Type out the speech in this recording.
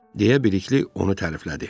Deyə Bəlikli onu təriflədi.